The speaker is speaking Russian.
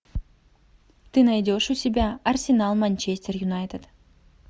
ты найдешь у себя арсенал манчестер юнайтед